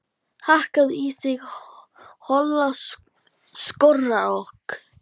Hakkaðu í þinn hola skrokk